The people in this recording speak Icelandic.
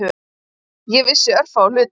Ég vissi örfáa hluti.